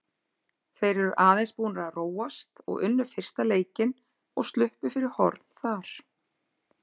Þeir eru aðeins búnir að róast og unnu fyrsta leikinn og sluppu fyrir horn þar.